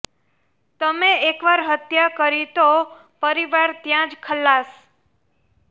તમે એકવાર હત્યા કરી તો પરિવાર ત્યાં જ ખલ્લાસ